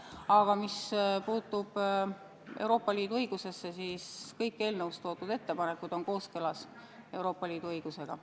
Aga mis puutub Euroopa Liidu õigusesse, siis kõik eelnõus toodud ettepanekud on kooskõlas Euroopa Liidu õigusega.